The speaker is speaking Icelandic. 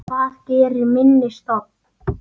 Hvað gerir minni stofn?